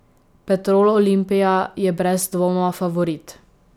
Petrol Olimpija je brez dvoma favorit.